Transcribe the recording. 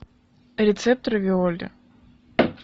рецепт равиоли